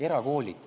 Erakoolid.